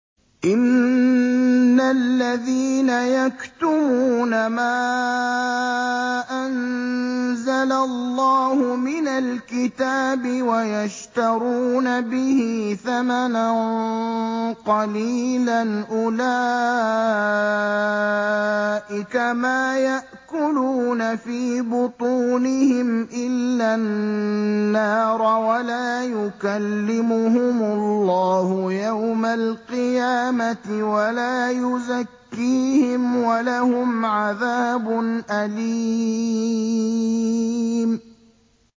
إِنَّ الَّذِينَ يَكْتُمُونَ مَا أَنزَلَ اللَّهُ مِنَ الْكِتَابِ وَيَشْتَرُونَ بِهِ ثَمَنًا قَلِيلًا ۙ أُولَٰئِكَ مَا يَأْكُلُونَ فِي بُطُونِهِمْ إِلَّا النَّارَ وَلَا يُكَلِّمُهُمُ اللَّهُ يَوْمَ الْقِيَامَةِ وَلَا يُزَكِّيهِمْ وَلَهُمْ عَذَابٌ أَلِيمٌ